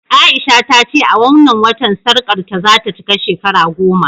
A'isha ta ce a wannan watan sarƙarta za ta cika shekara goma